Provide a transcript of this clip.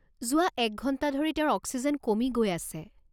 যোৱা এক ঘণ্টা ধৰি তেওঁৰ অক্সিজেন কমি গৈ আছে।